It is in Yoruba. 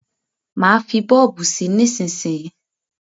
Má fí bọ́ọ̀bù sí nísísíyí.